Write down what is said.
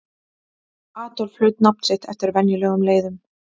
Adolf hlaut nafn sitt eftir venjulegum leiðum.